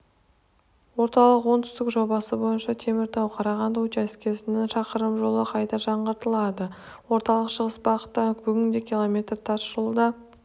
орталық-оңтүстік жобасы бойынша теміртау-қарағанды учаскесінің шақырым жолы қайта жаңғыртылады орталық-шығыс бағытта бүгінде километр тас жолда